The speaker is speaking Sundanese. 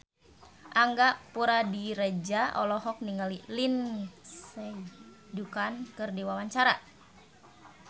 Angga Puradiredja olohok ningali Lindsay Ducan keur diwawancara